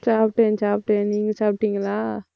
சாப்பிட்டேன், சாப்பிட்டேன். நீங்க சாப்பிட்டீங்களா?